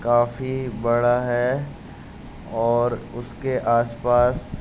काफी बड़ा है और उसके आसपास --